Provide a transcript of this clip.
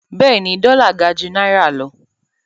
Bẹ́ẹ̀ni, dọ́là gà jú náírà lọ.